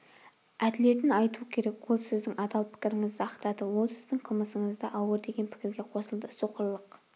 әділетін айту керек ол сіздің адал пікіріңізді ақтады ол сіздің қылмысыңызды ауыр деген пікірге қосылды соқырлық